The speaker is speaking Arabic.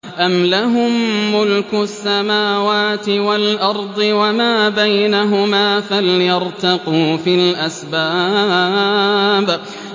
أَمْ لَهُم مُّلْكُ السَّمَاوَاتِ وَالْأَرْضِ وَمَا بَيْنَهُمَا ۖ فَلْيَرْتَقُوا فِي الْأَسْبَابِ